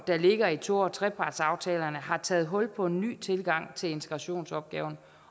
der ligger i to og trepartsaftalerne har taget hul på en ny tilgang til integrationsopgaven